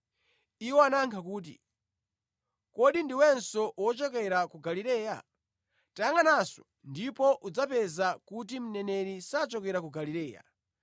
Iwo anayankha kuti, “Kodi ndiwenso wochokera ku Galileya? Tayangʼananso, ndipo udzapeza kuti mneneri sachokera ku Galileya.”